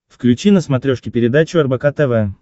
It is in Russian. включи на смотрешке передачу рбк тв